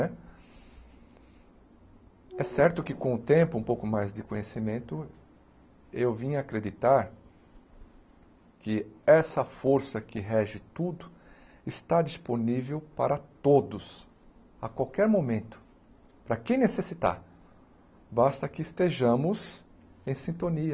Né é certo que com o tempo, um pouco mais de conhecimento, eu vim a acreditar que essa força que rege tudo está disponível para todos, a qualquer momento, para quem necessitar, basta que estejamos em sintonia.